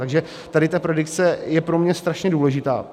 Takže tady ta predikce je pro mě strašně důležitá.